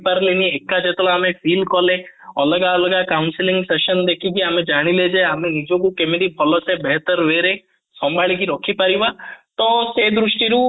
ପାରିଲେନି ଏକା ଯେତେବେଳେ ଆମେ feel କଲେ ଅଲଗା ଅଲଗା council section ଦେଖିକି ଆମେ ଜାଣିଲେ ଯେ ଆମେ କେମିତି ଭଲ ସେ way ରେ ସମ୍ଭଳିକି ରଖିପାରିବା ତ ଏଇ ଦୃଷ୍ଟି ରୁ